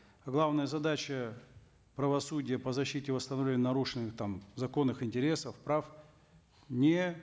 главная задача правосудия по защите нарушенных там законных интересов прав не